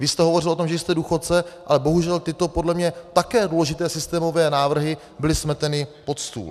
Vy jste hovořil o tom, že jste důchodce, ale bohužel tyto podle mě také důležité systémové návrhy byly smeteny pod stůl.